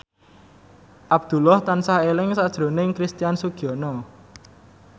Abdullah tansah eling sakjroning Christian Sugiono